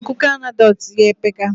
Akuko anecdotes ya epeka